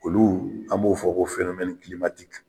Olu an b'o fɔ ko .